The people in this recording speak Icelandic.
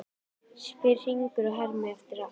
spyr Hringur og hermir allt eftir.